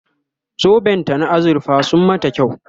zoben ta na azurfa sun mata kyau